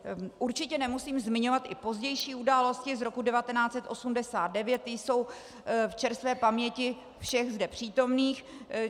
Určitě nemusím zmiňovat i pozdější události z roku 1989, ty jsou v čerstvé paměti všech zde přítomných.